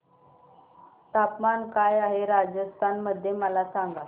तापमान काय आहे राजस्थान मध्ये मला सांगा